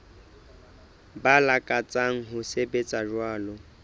ba lakatsang ho sebetsa jwalo